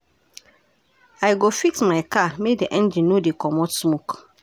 I go fix my car make di engine no dey comot smoke.